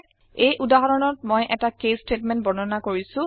এই উদাহৰণত মই এটা কেচ ষ্টেটমেণ্ট বৰ্ণনা কৰিছো